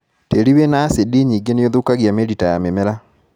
Tĩri wina acindi nyingĩ nĩũthũkagia mĩrita ya mĩmera.